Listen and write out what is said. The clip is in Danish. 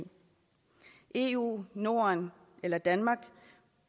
eu norden eller danmark